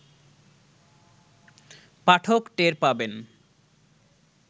পাঠক টের পাবেন